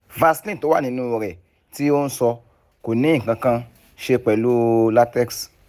vaseline tó wà nínú rẹ̀ tí o ń sọ kò ní nǹkan kan ṣe pẹ̀lú latex